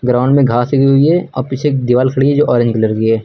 Ground में घास उगी हुई है और पीछे एक दीवाल खड़ी है जो ऑरेंज कलर की है।